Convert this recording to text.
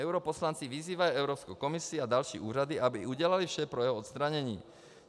Europoslanci vyzývají Evropskou komisi a další úřady, aby udělaly vše pro jeho odstranění.